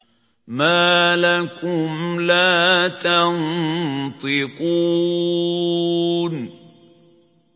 مَا لَكُمْ لَا تَنطِقُونَ